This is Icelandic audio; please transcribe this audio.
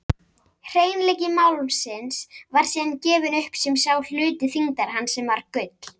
Hreinleiki málmsins var síðan gefinn upp sem sá hluti þyngdar hans sem var gull.